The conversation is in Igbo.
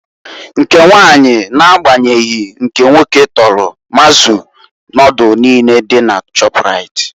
Nke nwanyị na agbanyeghi na nke nwoke tọlụ mazụ Nodulu niine dị na Shọprait.